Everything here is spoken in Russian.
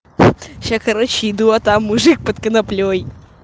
сейчас короче иду а там мужик под коноплёй